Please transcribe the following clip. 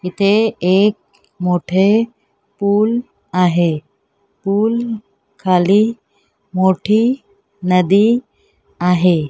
इथे एक मोठे पूल आहे पूल खाली मोठी नदी आहे.